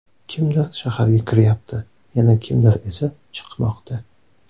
Kimdir shaharga kiryapti, yana kimdir esa chiqmoqda.